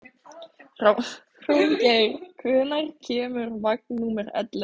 Hróðgeir, hvenær kemur vagn númer ellefu?